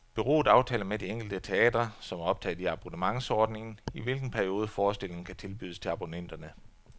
Bureauet aftaler med de enkelte teatre, som er optaget i abonnementsordningen, i hvilken periode forestillingen kan tilbydes til abonnenterne.